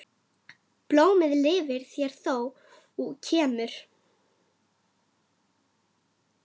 Blómið lifir mér þó skemur.